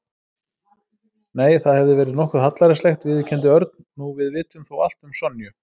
Nei, það hefði verið nokkuð hallærislegt viðurkenndi Örn. Nú við vitum þó allt um Sonju.